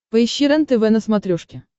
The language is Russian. поищи рентв на смотрешке